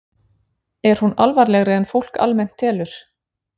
Er hún alvarlegri en fólk almennt telur?